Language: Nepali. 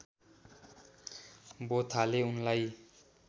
बोथाले उनलाई